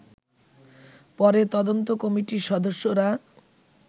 পরে তদন্ত কমিটির সদস্যরা